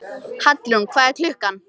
Hallrún, hvað er klukkan?